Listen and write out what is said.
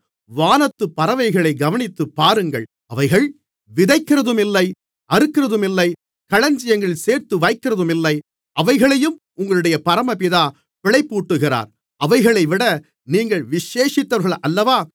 வானத்துப் பறவைகளைக் கவனித்துப்பாருங்கள் அவைகள் விதைக்கிறதுமில்லை அறுக்கிறதுமில்லை களஞ்சியங்களில் சேர்த்து வைக்கிறதுமில்லை அவைகளையும் உங்களுடைய பரமபிதா பிழைப்பூட்டுகிறார் அவைகளைவிட நீங்கள் விசேஷித்தவர்கள் அல்லவா